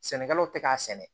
Sɛnɛkɛlaw tɛ k'a sɛnɛ